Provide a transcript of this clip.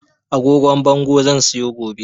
Agogon bango zan siyo gobe